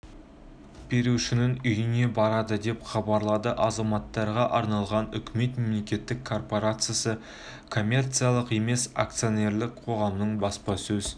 берушінің үйіне барады деп хабарлады азаматтарға арналған үкімет мемлекеттік корпорациясы коммерциялық емес акционерлік қоғамының баспасөз